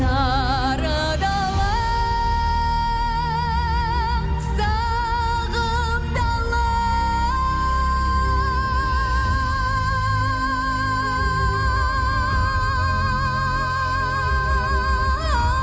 сары далам сағым дала